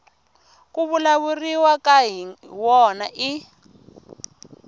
ku vulavuriwaka hi wona i